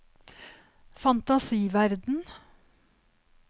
fantasiverden